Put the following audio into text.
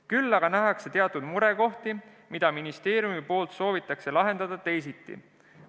Küll aga nähakse teatud murekohti, mida ministeeriumi poolt soovitakse lahendada teisiti.